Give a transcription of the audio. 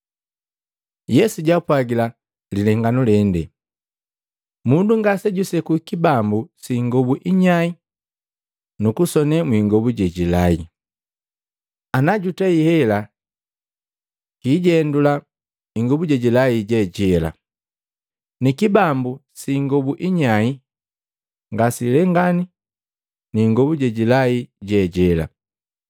Yesu jaapwagila lilenganu lende, “Mundu ngasejuseku kibambu si ingobu inyai nukusone mwiingobu jejilai. Ana jutei hela, kiijendula ingobu jejilai jejela, ni kibambu si ingobu inyai ngasilengani ni ingobu jejilai je jela.